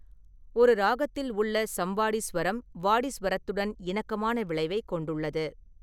ஒரு ராகத்தில் உள்ள சம்வாடி சுவரம் வாடி சுவரத்துடன் இணக்கமான விளைவைக் கொண்டுள்ளது.